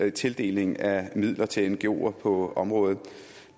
i tildelingen af midler til ngoer på området